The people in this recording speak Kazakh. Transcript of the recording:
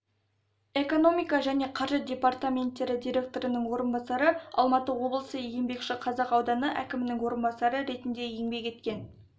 экономика және қаржы департаментттері директорының орынбасары алматы облысы еңбекшіқазақ ауданы әкімінің орынбасары ретінде еңбек еткен